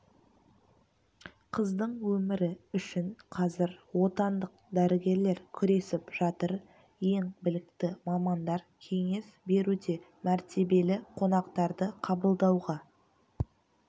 қыздың өмірі үшін қазір отандық дәрігерлер күресіп жатыр ең білікті мамандар кеңес беруде мәртебелі қонақтарды қабылдауға